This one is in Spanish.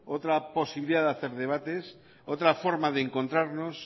otra posibilidad de hacer debates otra forma de encontrarnos